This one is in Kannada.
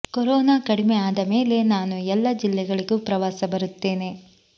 ಕೊರೋನಾ ಕಡಿಮೆ ಆದ ಮೇಲೆ ನಾನು ಎಲ್ಲ ಜಿಲ್ಲೆಗಳಿಗೂ ಪ್ರವಾಸ ಬರುತ್ತೇನೆ